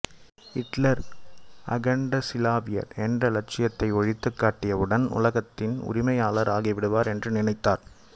இட்லர் அகண்டசிலாவியர் என்ற இலட்சியத்தை ஒழித்துக் கட்டியவுடன் உலகத்தின் உரிமையாளர் ஆகிவிடுவர் என நினைத்தார்